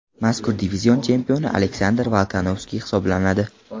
Mazkur divizion chempioni Aleksandr Volkanovski hisoblanadi.